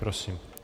Prosím.